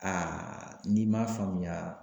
Aa n'i m'a faamuya.